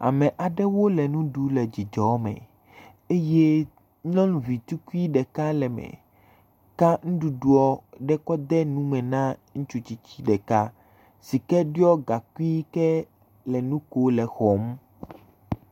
Ame aɖewo le nuɖum le dzidzɔ me eye nyɔnuvi tukui ɖeka le eme, ka nuɖuɖua ɖe kɔ de nume na ŋutsutsisi ɖeka, si ke ɖɔe gakui ke le nu kom le exɔm.